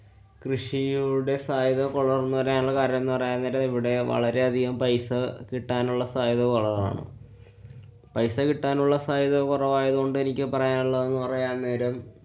കൃഷിയൂടെ സാധ്യത കൊറഞ്ഞു വരാനുള്ള കരണംന്നു പറയയാന്‍ നേരം ഇവിടെ വളരെയധികം പൈസ കിട്ടാനുള്ള സാധ്യത കുറവാണ്. പൈസ കിട്ടാനുള്ള സാധ്യത കുറവായതുകൊണ്ട് എനിക്ക് പറയാനുള്ളതെന്ന് പറയാന്‍ന്നേരം